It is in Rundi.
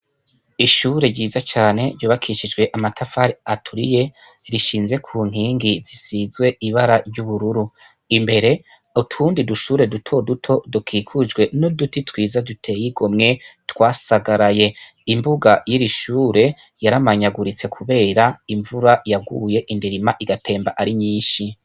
Ishure ryiza cane ryubakishijwe amatafari aturiye rishinze kunkingi zisizwe ibara ryubururu imbere utundi dushuri duto duto dukikujwe n'uduti twiza duteye igomwe twasagaraye imbuga yiri shure yaramanyaguriste kubera imvura yaguye indirima igatemba ari nyinshi.